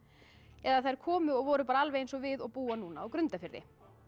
eða þær komu og voru alveg eins og við og búa núna á Grundarfirði